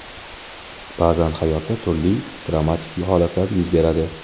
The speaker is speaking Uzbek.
Ba’zan hayotda turli dramatik holatlar yuz beradi.